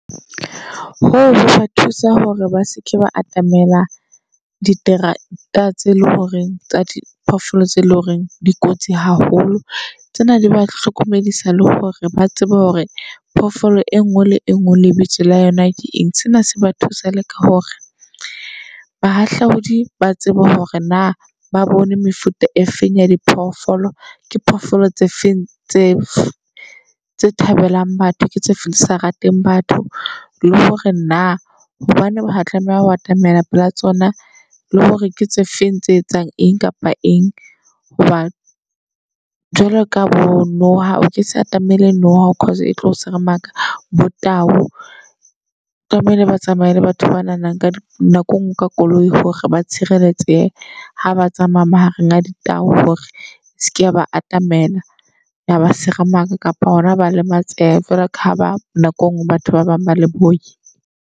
Ho hoka thusa hore ba seke ba atamela diterata tse leng horeng tsa diphoofolo tse loreng di kotsi haholo. Tsena di ba hlokomedisa le hore ba tsebe hore phofolo e ngwe le engwe lebitso la yona ke eng. Sena se ba thusa le ka hore bahahlaodi ba tsebe hore na ba bone mefuta e feng ya diphoofolo. Ke phofolo tse feng tse tse thabelang batho, ke tse feng tse sa rateng batho. Le hore na hobaneng ba tlameha ho atamela pela tsona, le hore ke tse feng tse etsang eng kapa eng. Hobane jwalo ka bo Noha o ke sa atamele noha cause e tlo seremaka. Bo tau tlamehile ba tsamaye le batho ba nahanang ka nako engwe ka koloi hore ba tshireletse. Ha ba tsamaya mahareng a ditau hore seke ba atamela. Ya ba seremaka kapa hona ho lematseha. Feela ka ha ba nako engwe batho ba bang ba le boi.